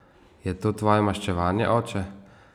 Je to tvoje maščevanje, oče?